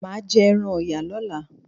Maa jẹ ẹran Ọ̀yà lọ́la.